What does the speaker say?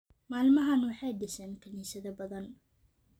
Maalmahan waxay dhiseen kaniisado badan